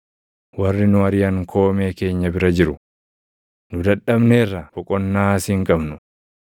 Warri nu ariʼan koomee keenya bira jiru; nu dadhabneerra; boqonnaas hin qabnu.